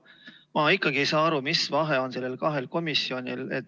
Ma ikkagi ei saa aru, mis vahe on neil kahel komisjonil.